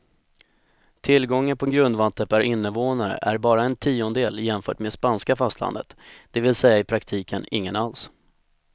Tillgången på grundvatten per invånare är bara en tiondel jämfört med spanska fastlandet, det vill säga i praktiken ingen alls.